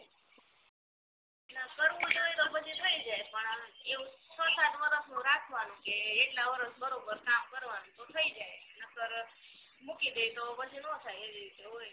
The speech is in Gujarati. કારવુંજ હોય તો પછી થઈ જાય પણ એવું છ સાત વરસ તો રાખવાનું કે આટલા વરસ બરોબર કામ કરવાનું તો થઈ જાય નકર મૂકી દેવી તો પછી નો થાઈ એવી રીતના હોય